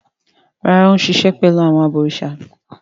Rárá, Ó ń sisẹ̀ pẹ̀lú àwọn “ abọ̀rìsà”.